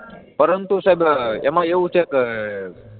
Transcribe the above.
પરંતુ સાહેબ એમાં એવું છે કે